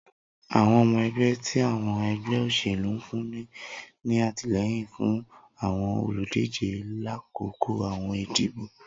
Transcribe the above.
Awọn ọmọ ẹgbẹ ti awọn ẹgbẹ oselu nfunni ni atilẹyin fun awọn oludije lakoko awọn idibo.